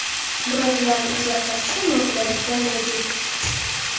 Biroq, ularni izlab topishda noqulayliklar mavjud.